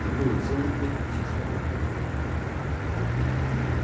там было целых пять тысяч одной купюрой